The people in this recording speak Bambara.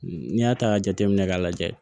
N'i y'a ta ka jateminɛ k'a lajɛ